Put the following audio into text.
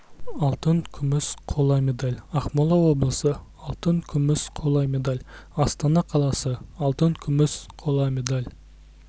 алтын күміс қола медаль ақмола облысы алтын күміс қола медаль астана қаласы алтын күміс қола медаль